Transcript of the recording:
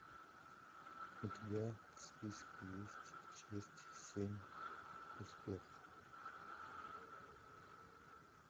у тебя в списке есть часть семь успех